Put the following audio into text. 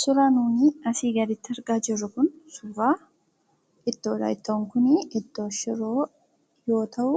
Suuraan nuti asii gaditti argaa jirru kun suuraa ittoodha. Ittoon kun shiroo yoo ta'u,